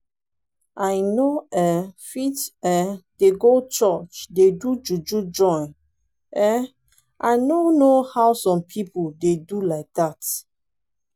i no um fit um dey go church dey do juju join um i no know how some people dey do like that